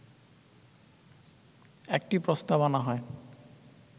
একটি প্রস্তাব আনা হয়